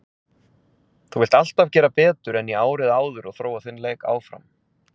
Þú vilt alltaf gera betur en í árið áður og þróa þinn leik áfram.